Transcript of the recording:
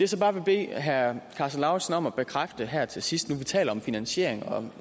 så bare vil bede herre karsten lauritzen om at bekræfte her til sidst nu vi taler om finansiering